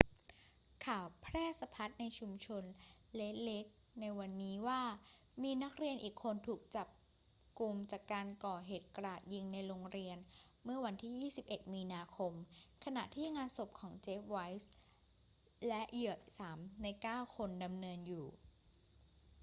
ข่าวแพร่สะพัดในชุมชนเรดเลคในวันนี้ว่ามีนักเรียนอีกคนถูกจับุมจากการก่อเหตุกราดยิงในโรงเรียนเมื่อวันที่ 21 มีนาคม ขณะที่งานศพของ jeff weise และเหยื่อ 3 ใน 9 คนดำเนินอยู่